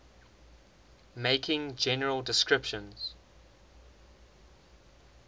making general descriptions